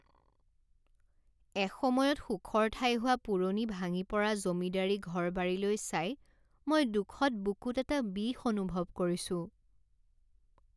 এসময়ত সুখৰ ঠাই হোৱা পুৰণি ভাঙি পৰা জমিদাৰি ঘৰ বাৰীলৈ চাই মই দুখত বুকুত এটা বিষ অনুভৱ কৰিছোঁ।